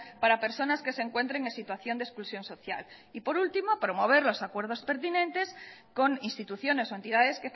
para personas que se encuentren en situación de exclusión social y por último promover los acuerdos pertinentes con instituciones o entidades